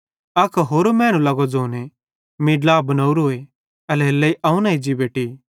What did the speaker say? अक होरो मैनू लगो ज़ोने मीं ड्ला बनावरोए एल्हेरेलेइ अवं न एज्जी बेटि